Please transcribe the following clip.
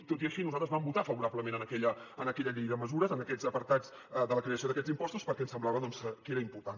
tot i així nosaltres vam votar favorablement a aquella llei de mesures en aquests apartats de la creació d’aquests impostos perquè ens semblava doncs que era important